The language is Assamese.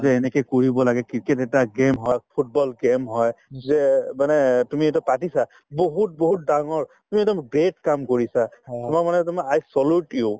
যে এনেকে কৰিব লাগে cricket এটা game football game হয় যে মানে তুমি এইটো পাতিছা বহুত বহুত ডাঙৰ তুমি এটা great কাম কৰিছা তোমাক মানে তোমাক i salute you